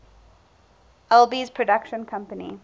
alby's production company